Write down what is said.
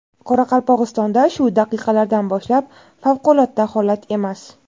Qoraqalpog‘istonda shu daqiqalardan boshlab favqulodda holat emas.